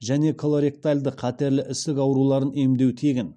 және колоректальды қатерлі ісік ауруларын емдеу тегін